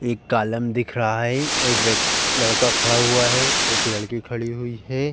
एक कालम दिख रहा है। एक व्यक् लड़का खड़ा हुआ है। एक लड़की खड़ी हुई है।